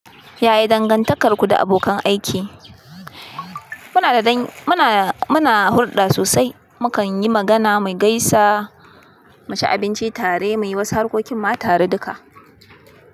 Yaya dangantakarku da abokan aiki? Muna da dan- muna, muna hulɗa sosai. Mukan yi magana, mu gaisa, mu ci abinci tare, muyi wasu harkokin ma tare duka.